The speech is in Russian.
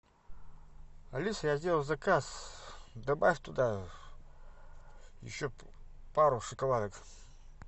алиса я сделал заказ добавь туда еще пару шоколадок